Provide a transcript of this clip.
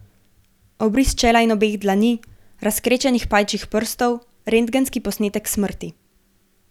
Obris čela in obeh dlani, razkrečenih pajčjih prstov, rentgenski posnetek smrti.